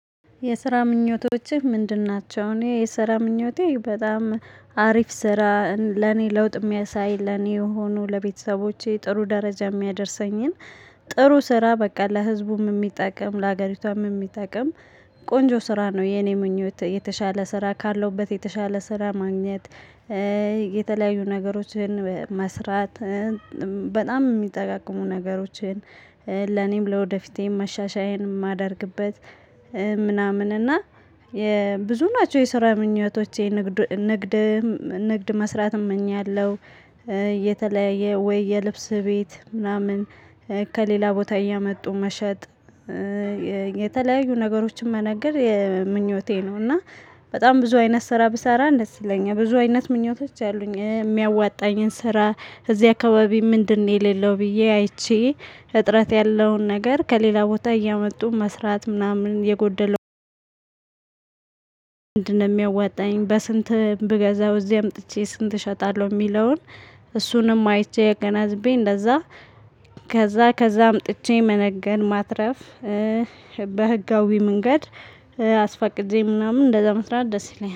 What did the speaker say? የስራ ምኞቶችህ ምንድን ናቸው? እኔ የስራ ምኞቴ በጣም አሪፍ ስራ ለኔ ለውጥ የሚያሳይ ለኔ የሆኑ ለቤተሰቦቼ ጥሩ ደረጃ የሚያደርሰኝን። ጥሩ ስራ በቃ ለህዝቡም የሚጠቅም ለሀገሪቷም የሚጠቅም ቆንጆ ስራ ነው። የኔ ምኞት የተሻለ ስራ ካለሁበት የተሻለ ስራ ማግኘት። የተለያዩ ነገሮችን መስራት። በጣም የሚጠቅሙ ነገሮችን ለኔም ለወደፊቴም መሻሻያዬን የማደርግበት። ምናምን እና የብዙ ናቸው የሰራ ምኞቶቼ ንግድ ንግድ መስራት እመኛለሁ። የተለያየ ወይ የልብስ ቤት ምናምን ከሌላ ቦታ እያመጡ መሸጥ። የተለያዩ ነገሮችን መነገድ ምኞቴ ነው። እና በጣም ብዙ አይነት ስራ ብሰራ ደስ ይለኛል። ብዙ አይነት ምኞቶች አሉኝ። የሚያዋጣኝን ስራ እዚህ አካባቢ ምንድነው የሌለው ብዬ አይቼ እጥረት ያለውን ነገር ከሌላ ቦታ እያመጡ መስራት ምናምን የጎደለው። ምንድን ነው የሚያዋጣኝ በስንት ብገዛው እዚህ አምጥቼ ስንት እሸጣለሁ የሚለውን? እሱንም አይቼ አገናዝቤ እንደዛ ከዛ ከዛ አምጥቼ መነገድ ማትረፍ። በህጋዊ መንገድ አስፈቅጄ ምናምን እንደዛ መስራት ደስ ይለኛል